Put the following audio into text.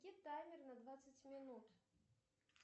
таймер на двадцать минут